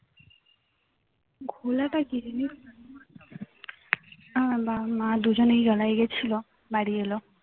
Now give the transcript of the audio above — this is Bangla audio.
ঘোলাটা কি জিনিস আমার বাবা মা দুজনেই গেছিলো বাড়ি এল